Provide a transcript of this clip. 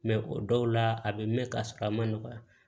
Mɛ o dɔw la a bɛ mɛn ka sɔrɔ a ma nɔgɔya